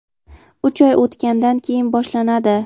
uch oy o‘tgandan keyin boshlanadi.